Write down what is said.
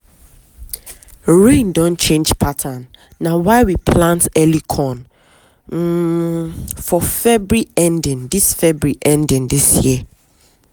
rain don change pattern na why we plant early corn um for february ending this february ending this year.